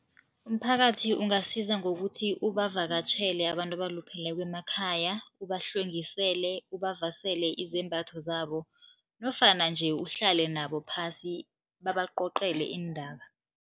Umphakathi ungasiza ngokuthi ubavakatjhele abantu abalupheleko emakhaya, ubahlwengisele, ubavasele izembatho zabo nofana nje uhlale nabo phasi, babacocele iindaba.